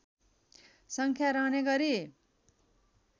सङ्ख्या रहने गरी